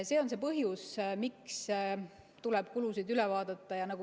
See on see põhjus, miks tuleb kulusid üle vaadata.